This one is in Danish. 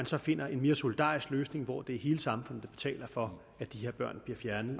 så findes en mere solidarisk løsning hvor det er hele samfundet der betaler for at de her børn bliver fjernet